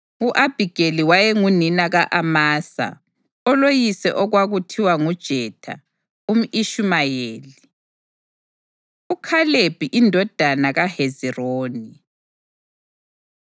U-Abhigeli wayengunina ka-Amasa, oloyise okwakuthiwa nguJetha umʼIshumayeli. UKhalebi Indodana KaHezironi